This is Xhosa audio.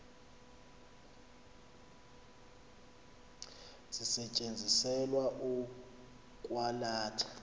zisetyenziselwa ukwa latha